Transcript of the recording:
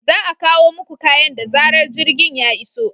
Za a kawo muku kayan da zarar jirgin ya iso.